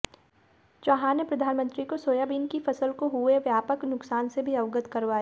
चौहान ने प्रधानमंत्री को सोयाबीन की फसल को हुए व्यापक नुकसान से भी अवगत करवाया